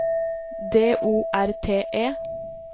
D O R T E